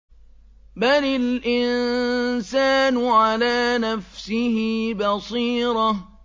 بَلِ الْإِنسَانُ عَلَىٰ نَفْسِهِ بَصِيرَةٌ